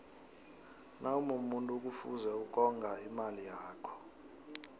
nawumumuntu kufuze ukonga imali yakho